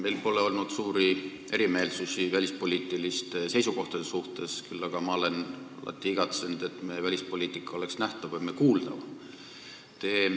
Meil pole olnud suuri eriarvamusi välispoliitiliste seisukohtade suhtes, küll aga olen ma alati igatsenud, et meie välispoliitika oleks nähtavam ja kuuldavam.